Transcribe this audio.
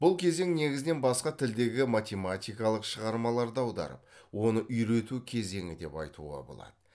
бұл кезең негізінен басқа тілдегі математикалық шығармаларды аударып оны үйрету кезеңі деп айтуға болады